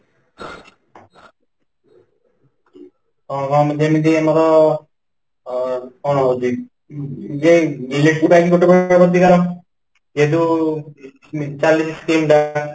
ଅ, ଅ ଯେମିତି ଆମର ଅ କ'ଣ ହଉଛି ? ଯେ electric bike ଯେହେତୁ Scheme ବାହାରିଲା